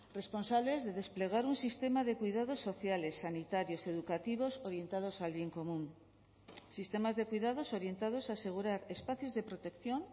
responsables de desplegar un sistema de cuidados sociales sanitarios educativos orientados al bien común sistemas de cuidados orientados a asegurar espacios de protección